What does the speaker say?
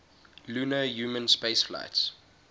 lunar human spaceflights